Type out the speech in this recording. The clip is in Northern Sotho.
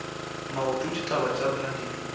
maoto ditaba tša rena di